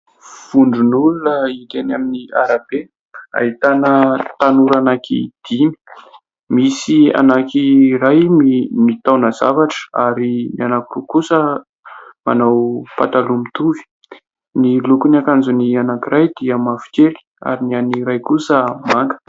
Vondron'olona hita eny amin'ny arabe, ahitana tanora anaky dimy. Misy anankiray mitaona zavatra ary ny anankiroa kosa manao pataloha mitovy. Ny lokon'ny akanjon'ny anankiray dia mavokely ary ny an'ny iray kosa manga.